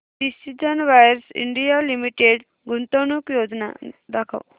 precision wires India limited गुंतवणूक योजना दाखव